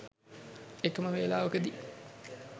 එකම වේලාවකදී